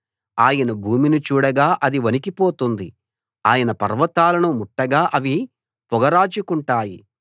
ఆయన భూమిని చూడగా అది వణికి పోతుంది ఆయన పర్వతాలను ముట్టగా అవి పొగరాజుకుంటాయి